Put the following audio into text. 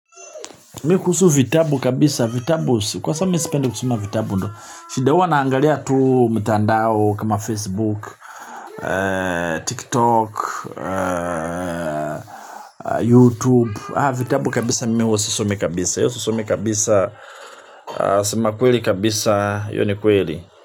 Mi kuhu vitabu kabisa, vitabu, kwa sababu mimi sipendi kusoma vitabu ndo shida huwa naangalia tu mtandao kama Facebook, TikTok, YouTube. Ha vitabu kabisa mimi huwa sisomi kabisa, iyo sisomi kabisa, sema kweli kabisa, iyo kweli.